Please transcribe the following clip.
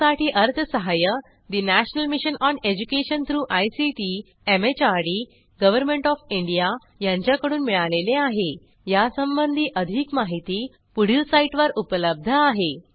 यासाठी अर्थसहाय्य national mission on education through ICT MHRD government of India यांच्याकडून मिळालेले आहेयासंबंधी अधिक माहिती पुढील साईटवर उपलब्ध आहे